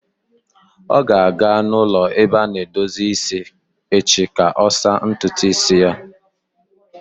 Ọ ga-aga n'ụlọ ebe a na-edozi isi echi ka ọ saa ntutu isi ya.